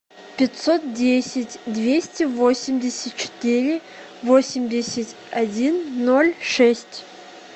пятьсот десять двести восемьдесят четыре восемьдесят один ноль шесть